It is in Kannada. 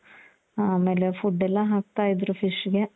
ಆಮೇಲೆ food ಎಲ್ಲಾ ಹಾಕ್ತಾ ಇದ್ರು fishಗೆ